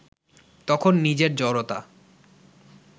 তখন নিজের জড়তা